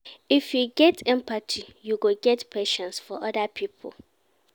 If you get empathy you go get patience for oda pipo.